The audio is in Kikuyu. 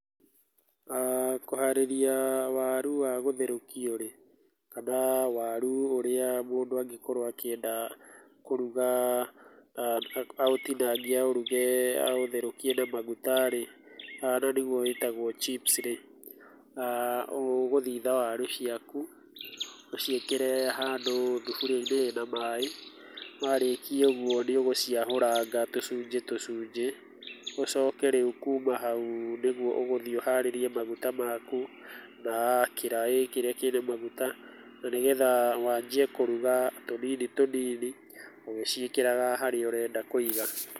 Kũharĩrĩa warũ wa gũtherũkio rĩ, kana waru ũrĩa mũndũ angĩkorwo akĩenda kũruga, aũtinangie aũruge aũtherũkie na maguta rĩ, na nĩgwo wĩtagwo chips rĩ, ũgũthitha waru ciaku ũciĩkĩre handũ thuburia-inĩ ĩna maĩ, warĩkia ũguo nĩ ũgũciahũranga tũsujĩ tũsujĩ, ũsoke rĩu kuma hau, nĩguo ũgũthiĩ ũharĩrie maguta maku na kĩraĩ kĩrĩa kĩna maguta na nĩgetha wanjie kũruga tũnini tũnini, ũgĩciĩkĩraga harĩa ũrenda kũiga.